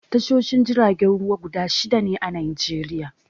Tashoshin jiragen ruwa guda shida ne a Najeriya.